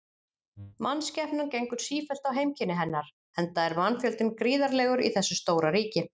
Mannskepnan gengur sífellt á heimkynni hennar, enda er mannfjöldinn gríðarlegur í þessu stóra ríki.